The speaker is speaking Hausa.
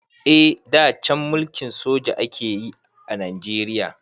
Eh da can mulkin soja akayi a Najeriya.